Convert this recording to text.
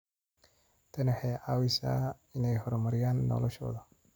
Tani waxay caawisaa inay horumariyaan noloshooda.